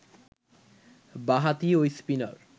বাঁ-হাতি ঐ স্পিনার